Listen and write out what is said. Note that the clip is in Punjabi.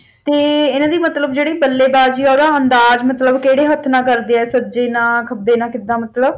ਤੇ ਇਹਨਾਂ ਦੀ ਮਤਲਬ ਜਿਹੜੀ ਬੱਲੇਬਾਜ਼ੀ ਓਹਦਾ ਅੰਦਾਜ਼ ਮਤਲਬ ਕਿਹੜੇ ਹੱਥ ਨਾਲ ਕਰਦੇ ਆ ਸੱਜੇ ਨਾਲ ਖੱਬੇ ਨਾਲ ਕਿਦਾ ਮਤਲਬ